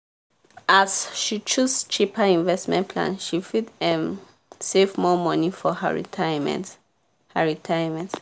as she choose cheaper investment plan she fit um save more money for her retirement. her retirement.